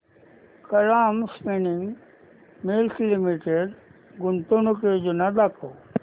Kalam Spinning Mills Limited गुंतवणूक योजना दाखव